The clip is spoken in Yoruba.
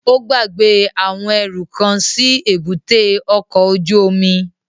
Ó gbàgbé àwọn ẹrú kan sí èbúté ọkọ̀ ojú omi